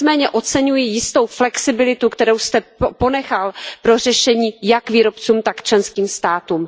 Nicméně oceňuji jistou flexibilitu, kterou jste ponechal pro řešení jak výrobcům, tak členským státům.